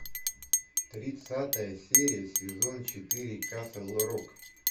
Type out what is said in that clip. тридцатая серия сезон четыре касл рок